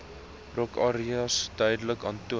rookareas duidelik aantoon